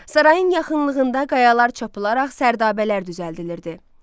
Sarayın yaxınlığında qayalar çapılaraq sərdabələr düzəldilirdi.